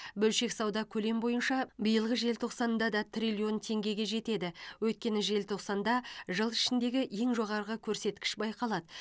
бөлшек сауда көлем бойынша биылғы желтоқсанда да триллион теңгеге жетеді өйткені желтоқсанда жыл ішіндегі ең жоғарғы көрсеткіш байқалады